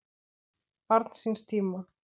Barn síns tíma?